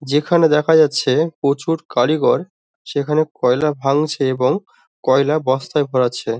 যেখানে দেখা যাচ্ছে প্রচুর কারিগর সেখানে কয়লা ভাঙছে এবং কয়লা বস্তায় ভরাচ্ছে।